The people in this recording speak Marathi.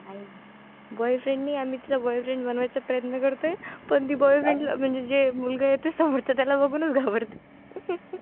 नाही आहे. boyfriend नाही आम्ही तिचा boyfriend बनवण्याचा प्रयत्न करतोय, पण ती म्हणजे जे मुलगा येतोय समोरचा त्याला बघूनच घाबरते.